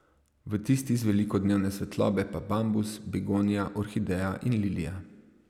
V tisti z veliko dnevne svetlobe pa bambus, begonija, orhideja in lilija.